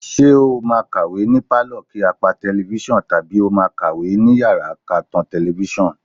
Ṣé o máa kàwé ni pálọ̀ kí á pa tẹlifíṣàn tàbí ó máa kàwé ní yàrá ká tan tẹlifíṣàn?